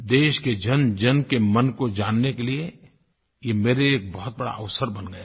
देश के जनजन के मन को जानने के लिए ये मेरे लिए एक बहुत बड़ा अवसर बन गया है